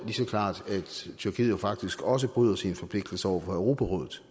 så klart at tyrkiet jo faktisk også bryder sine forpligtelser over for europarådet